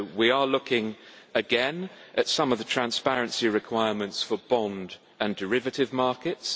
So we are looking again at some of the transparency requirements for bond and derivative markets.